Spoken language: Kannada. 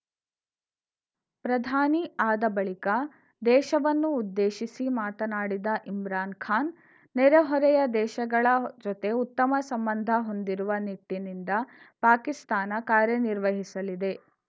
ಪ್ರಧಾನಿ ಆದ ಬಳಿಕ ದೇಶವನ್ನು ಉದ್ದೇಶಿಸಿ ಮಾತನಾಡಿದ ಇಮ್ರಾನ್‌ ಖಾನ್‌ ನೆರೆಹೊರೆಯ ದೇಶಗಳ ಜೊತೆ ಉತ್ತಮ ಸಂಬಂಧ ಹೊಂದಿರುವ ನಿಟ್ಟಿನಿಂದ ಪಾಕಿಸ್ತಾನ ಕಾರ್ಯನಿರ್ವಹಿಸಲಿದೆ